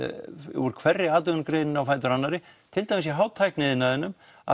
úr hverri atvinnugreininni á fætur annarri til dæmis í hátækni iðnaðinum að